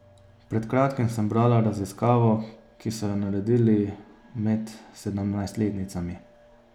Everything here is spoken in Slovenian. Pred kratkim sem brala raziskavo, ki so jo naredili med sedemnajstletnicami.